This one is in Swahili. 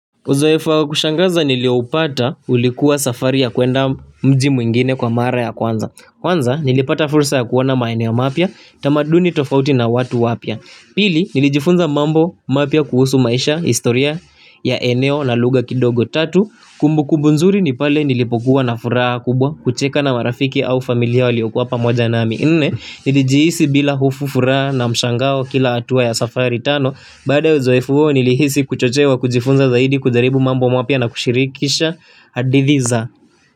Uzoefu wa kushangaza nilioupata ulikuwa safari ya kuenda mji mwingine kwa mara ya kwanza Kwanza nilipata fursa ya kuona maeneo mapya, tamaduni tofauti na watu wapya Pili nilijifunza mambo mapya kuhusu maisha, historia ya eneo la luga kidogo tatu Kumbukumbu nzuri ni pale nilipokuwa na furaha kubwa kucheka na marafiki au familia waliokuwa pamoja nami nne nilijihisi bila hofu furaha na mshangao kila atua ya safari tano Bada uzoefu huo nilihisi kuchochewa kujifunza zaidi kujaribu mambo mapya na kushirikisha hadithi za.